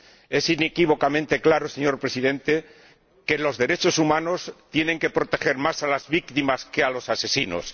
Es inequívocamente claro, señor Presidente, que los derechos humanos tienen que proteger más a las víctimas que a los asesinos.